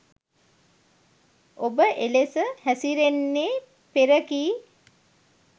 ඔබ එලෙස හැසිරෙන්නේ පෙර කී